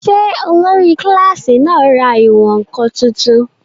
Ṣé olórí kílásì náà ra ìwọ̀n-ǹkan tuntun?